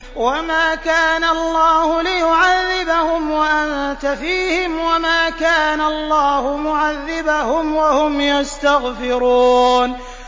وَمَا كَانَ اللَّهُ لِيُعَذِّبَهُمْ وَأَنتَ فِيهِمْ ۚ وَمَا كَانَ اللَّهُ مُعَذِّبَهُمْ وَهُمْ يَسْتَغْفِرُونَ